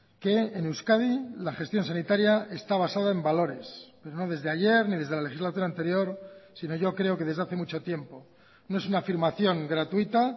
que en euskadi la gestión sanitaria está basada en valores pero no desde ayer ni desde la legislatura anterior sino yo creo que desde hace mucho tiempo no es una afirmación gratuita